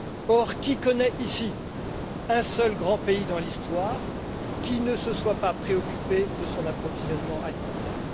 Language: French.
Or, qui connaît ici un seul grand pays dans l'histoire qui ne se soit pas préoccupé de son approvisionnement alimentaire?